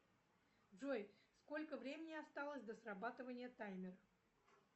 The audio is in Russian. джой сколько времени осталось до срабатывания таймера